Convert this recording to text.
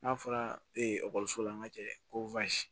N'a fɔra ee ekɔliso la n'a ma jɛ ko